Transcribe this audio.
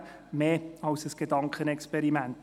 Für mich ist dies mehr als ein Gedankenexperiment.